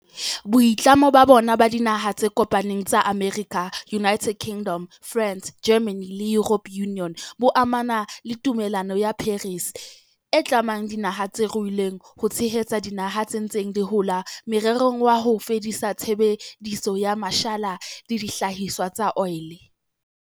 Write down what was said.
Boitlamo bona ba Dinaha tse Kopaneng tsa Amerika, United Kingdom, France, Germany le European Union bo amana le Tumellano ya Paris, e tlamang dinaha tse ruileng ho tshehetsa dinaha tse ntseng di hola morerong wa ho fedisa tshebediso ya mashala le dihlahiswa tsa oli.